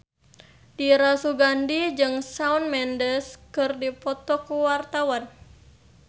Dira Sugandi jeung Shawn Mendes keur dipoto ku wartawan